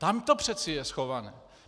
Tam to přece je schované.